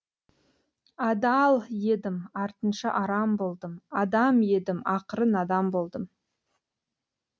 адал едім артынша арам болдым адам едім ақыры надан болдым